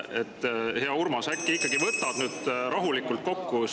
Hea Urmas, äkki ikkagi võtad nüüd rahulikult kokku ja …